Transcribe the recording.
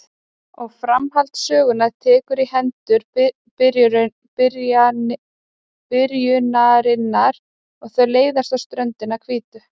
Og framhald sögunnar tekur í hendur byrjunarinnar og þau leiðast á ströndinni hvítu.